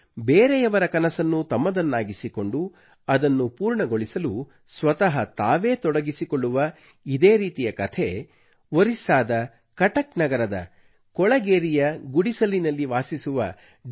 ಬೇರೆಯವರ ಕನಸನ್ನು ತಮ್ಮದನ್ನಾಗಿಸಿಕೊಂಡು ಅದನ್ನು ಪೂರ್ಣಗೊಳಿಸಲು ಸ್ವತಃ ತಾವೇ ತೊಡಗಿಸಿಕೊಳ್ಳುವ ಇದೇ ರೀತಿಯ ಕಥೆ ಒರಿಸ್ಸಾದ ಕಟಕ್ ನಗರದ ಕೊಳಗೇರಿಯ ಗುಡಿಸಿಲಿನಲ್ಲಿ ವಾಸಿಸುವ ಡಿ